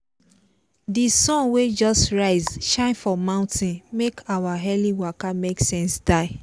di sun wey just rise shine for mountain make our early waka make sense die.